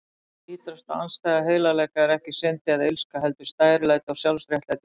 Ýtrasta andstæða heilagleika er ekki synd eða illska, heldur stærilæti og sjálfsréttlæting.